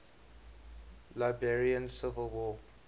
liberian civil war